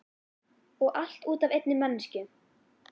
Og allt út af einni manneskju.